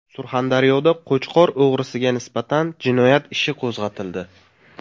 Surxondaryoda qo‘chqor o‘g‘risiga nisbatan jinoyat ishi qo‘zg‘atildi.